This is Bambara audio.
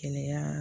Kɛnɛya